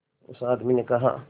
उस आदमी ने कहा